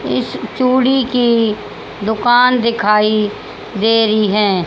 इस चूड़ी की दोकान दिखाई दे रही है।